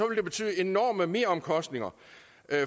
det betyde enorme meromkostninger